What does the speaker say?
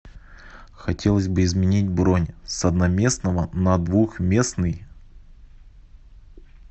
хотелось бы изменить бронь с одноместного на двухместный